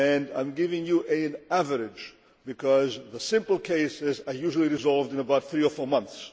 I am giving you an average, because the simple cases are usually resolved in about three or four months